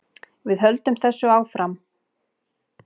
Við höldum þessu áfram